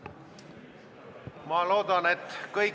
Minu küsimus on vaadete muutumise kohta.